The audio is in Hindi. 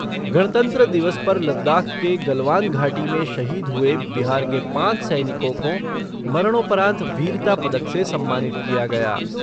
गणतंत्र दिवस पर लद्दाख के गलवान घाटी में शहीद हुए बिहार के पाँच सैनिकों को मरणोपरांत वीरता पदक से सम्मानित किया गया।